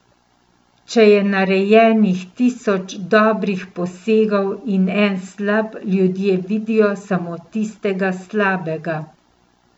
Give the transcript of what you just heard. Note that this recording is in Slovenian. Če je narejenih tisoč dobrih posegov in en slab, ljudje vidijo samo tistega slabega.